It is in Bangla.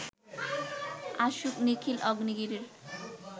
আসুক নিখিল অগ্নিগিরির